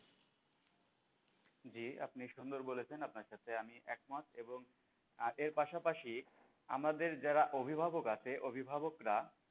জি আপনি সুন্দর বলেছেন আপনার সাথে আমি একমত এবং আহ এর পাশাপাশি আমাদের যারা অভিভাবক আছে অভিভাবকরা,